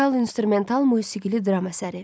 Vokal instrumental musiqili dram əsəri.